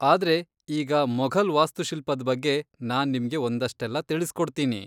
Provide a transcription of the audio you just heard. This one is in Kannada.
ಆದ್ರೆ ಈಗ ಮೊಘಲ್ ವಾಸ್ತುಶಿಲ್ಪದ್ ಬಗ್ಗೆ ನಾನ್ ನಿಮ್ಗೆ ಒಂದಷ್ಟೆಲ್ಲ ತಿಳಿಸ್ಕೊಡ್ತೀನಿ.